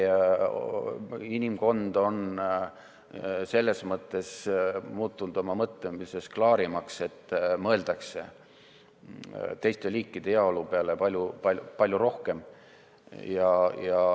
Inimkond on selles mõttes muutunud oma mõtlemises klaarimaks, et teiste liikide heaolu peale mõeldakse palju-palju rohkem.